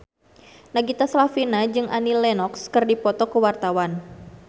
Nagita Slavina jeung Annie Lenox keur dipoto ku wartawan